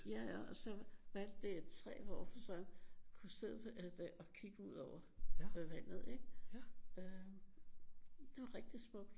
Ja og så valgte de et træ hvor hun så kunne sidde og kigge ud over vandet ik? Øh det var rigtig smukt